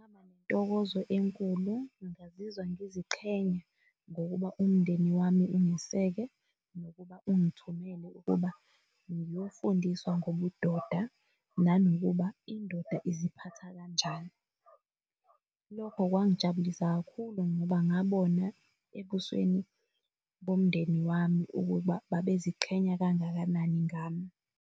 ngaba nentokozo enkulu ngingazizwa ngiziqhenya, ngokuba umndeni wami ungiseke nokuba ungithumele ukuba ngiyofundiswa ngobudoda nanokuba indoda iziphatha kanjani. Lokho kwangijabulisa kakhulu ngoba ngabona ebusweni bomndeni wami ukuba babeziqhenya kangakanani ngami.